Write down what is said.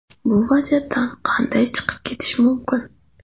Bu vaziyatdan qanday chiqib ketish mumkin?